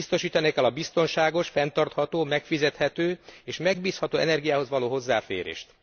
Biztosítani kell a biztonságos, fenntartható, megfizethető és megbízható energiához való hozzáférést.